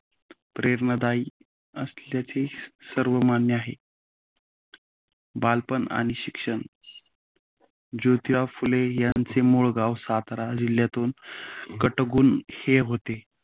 प्रेरणादायी असल्याचे सर्वमान्य आहे. बालपण आणि शिक्ष जोतीराव फुले यांचे मूळ गाव सातारा जिल्ह्यातील कटगुण हे होते.